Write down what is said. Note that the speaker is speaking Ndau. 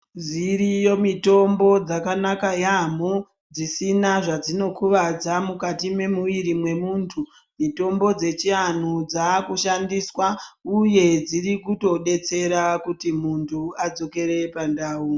Dziriyo mitombo yakanaka yamboo dzisina dzazvinokuvadza mukati memuviri wemundu mutombo dzechianhu dzakushandis uye dzinobetsera kti munhu adzokere pandau.